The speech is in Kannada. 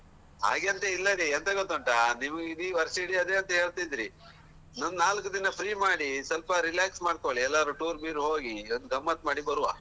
ಹಾಗೆ ಅಂತ ಇಲ್ಲಾರಿ ಅದು ಎಂತ ಗೊತ್ತುಂಟಾ ನಿಮ್ಗೆ ಇಡಿ ವರ್ಷವಿಡಿ ಅದೇ ಅಂತ ಹೇಳ್ತಿದ್ರಿ ಒಂದ್ ನಾಲ್ಕು ದಿನ free ಮಾಡಿ ಸ್ವಲ್ಪ relax ಮಾಡ್ಕೊಳ್ಳಿ ಎಲ್ಲರೂ tour ವೀರ್ ಹೋಗಿ ಒಂದ್ ಗಮ್ಮತ್ ಮಾಡಿ ಬರುವ.